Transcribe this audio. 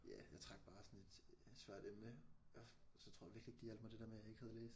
Ja jeg trak bare sådan et et svært emne og så tror jeg virkelig ikke det hjalp mig det der med jeg ikke havde læst